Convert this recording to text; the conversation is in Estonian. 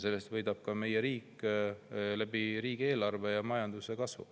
Riik võidab sellest riigieelarve ja majanduse kasvu kaudu.